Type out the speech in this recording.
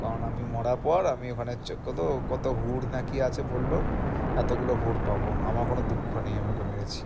কারণ আমি মরার পড় আমি ওখানে চ~ কত কত হুর না কি আছে বলল এত গুলো হুর পাবো আমার কোনো দুঃখ নেই আমি ওকে মেরেছি।